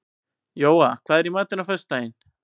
Jóa, hvað er í matinn á föstudaginn?